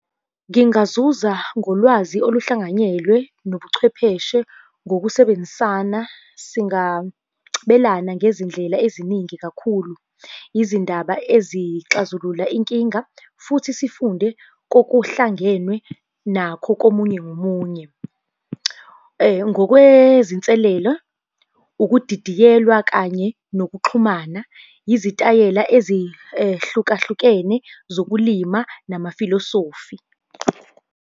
Ngingazuza ngolwazi oluhlanganyelwe nobuchwepheshe ngokusebenzisana singabelana ngezindlela eziningi kakhulu. Izindaba ezixazulula Inkinga futhi sifunde kokuhlangenwe nakho komunye nomunye. Ngokwezinselela ukudidiyelwa kanye nokuxhumana, izitayela ezihlukahlukene zokulima namafilosofi.